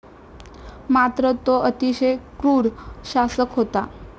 मात्र तो अतिशय क्रूर शासक होता.